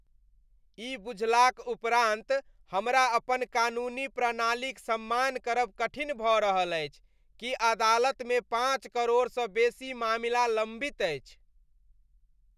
ई बुझलाक उपरान्त हमरा अपन कानूनी प्रणालीक सम्मान करब कठिन भऽ रहल अछि कि अदालतमे पाँच करोड़सँ बेसी मामिला लम्बित अछि।